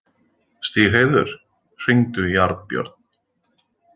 Stígheiður, hringdu í Arnbjörn.